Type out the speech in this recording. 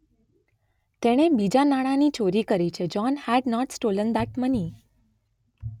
તેણે બીજાં નાણાંની ચોરી કરી છે. John had not stolen that money.